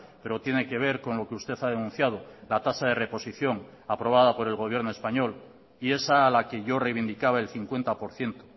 pero tiene que ver con lo que usted ha denunciado la tasa de reposición aprobada por el gobierno español y esa a la que yo reivindicaba el cincuenta por ciento